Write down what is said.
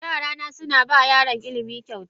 Yarana suna ba yaran ilimi kyauta.